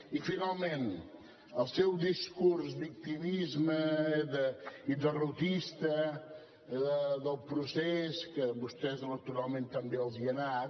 i finalment el seu discurs de victimisme i derrotista del procés que a vostès electoralment tan bé els ha anat